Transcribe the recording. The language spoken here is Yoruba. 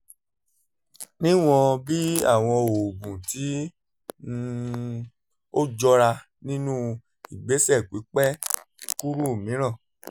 níwọ̀n bí àwọn oògùn tí um ó jọra nínú ìgbésẹ̀ pípẹ́ kúrú mìíràn